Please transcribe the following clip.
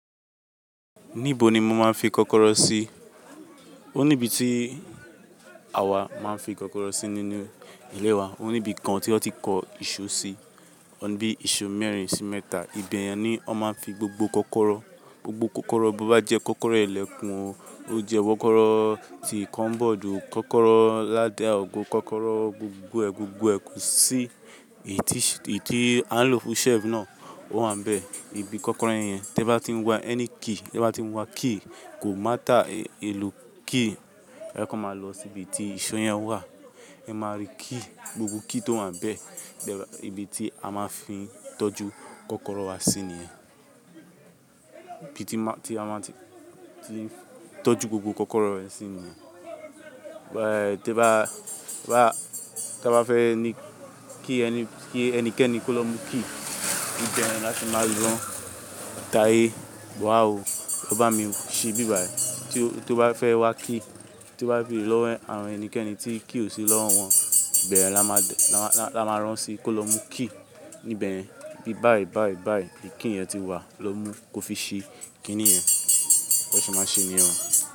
Níbo ni mo máa ń fi kọ́kọ́rọ́ sí? Ó níbi tí àwa máa ń fi kọ́kọ́rọ́ sí nínú ilé wa. Ó níbi kan tí wọ́n ti kọ́ ìṣó sí, òun bí ìṣó mẹ́rin sí mẹ́ta, ibẹ̀ ni wọ́n máa ń fi gbogbo kọ́kọ́rọ́. Gbogbo kọ́kọ́rọ́, bó bá jẹ́ kọ́kọ́rọ́ ìlẹ́kun ó jẹ́ wọ́n kọ́rọ́, ti cupboard kọ́kọ́rọ́ láti ọ̀go kọ́kọ́rọ́ gbogbo ẹ̀, gbogbo ẹ̀ kò sí èyí tí, èyí tí á n lò fún shelf náà. Ó wà bẹ́ẹ̀, ibi kọ́kọ́rọ́ yẹn. Tẹ́ bá ti ń wa ẹni key, tẹ́ bá ti ń wa key, kò máta ìlú key, ẹ kó máa lọ síbi tí ìṣó yẹn wà. Ẹ máa rí key, gbogbo key tó wà bẹ́ẹ̀, ibi tí a máa ń fi tọ́jú kọ́kọ́rọ́ wa sí nìyẹn. Key tí a máa ń fi tọ́jú gbogbo kọ́kọ́rọ́ wa sí nìyẹn. Ẹ̀ tẹ́ bá, bá, tí a bá fẹ́ ẹni key, kí ẹnikẹ́ni kó lọ mú key, níbẹ̀ ni a sì máa rán táyì, "bọ̀ wá o, lọ bá mi ṣí bíbàyii", tí ó bá fẹ́ wá key, tí ó bá fi lò wẹ́ ẹni, ẹnikẹ́ni tí key ò sí lọ́wọ́ wọn. Bẹ́ẹ̀ la máa dẹ́, la máa rán sí i kó lọ mú key. Níbẹ̀ yẹn, bí báyìí, báyìí, báyìí, key yẹn ti wà, lọ mú kí ó fi ṣí kíní yẹn. Ó sì máa ṣe nìyẹn.